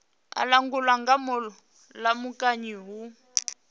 a langulwa nga mulamukanyi hu